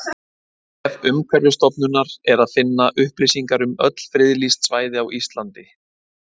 Á vef Umhverfisstofnunar er að finna upplýsingar um öll friðlýst svæði á Íslandi.